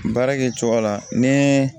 Baara kɛ cogo la ni